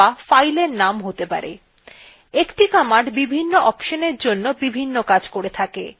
একটি command বিভিন্ন অপশনএর জন্য বিভিন্ন কাজ করে থাকে